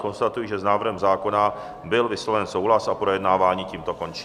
Konstatuji, že s návrhem zákona byl vysloven souhlas a projednávání tímto končí.